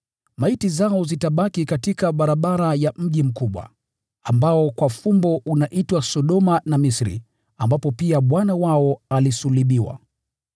Maiti zao zitabaki katika barabara ya mji mkubwa, ambao kwa fumbo unaitwa Sodoma na Misri, ambapo pia Bwana wao alisulubiwa.